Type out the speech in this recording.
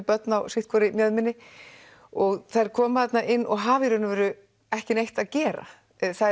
börn á sitt hvorri mjöðminni og þær koma þarna inn og hafa í rauninni ekkert að gera